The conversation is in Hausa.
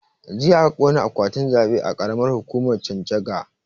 Jiya aka ƙona akwatin zaɓe a karamar hukumar chanchaga